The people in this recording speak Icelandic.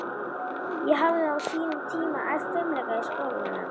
Ég hafði á sínum tíma æft fimleika í skólanum í